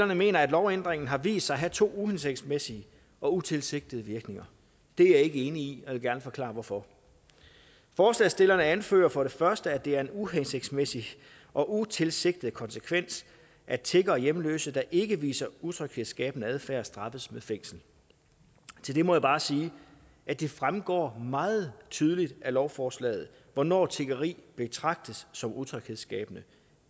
mener at lovændringen har vist sig at have to uhensigtsmæssige og utilsigtede virkninger det er jeg ikke enig i og jeg vil gerne forklare hvorfor forslagsstillerne anfører for det første at det er en uhensigtsmæssig og utilsigtet konsekvens at tiggere og hjemløse der ikke udviser utryghedsskabende adfærd straffes med fængsel til det må jeg bare sige at det fremgår meget tydeligt af lovforslaget hvornår tiggeri betragtes som utryghedsskabende